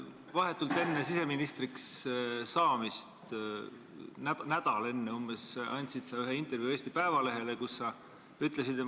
Vahetult enne siseministriks saamist – umbes nädal enne – andsid sa intervjuu Eesti Päevalehele, kus sa ütlesid, et ...